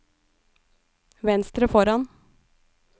venstre foran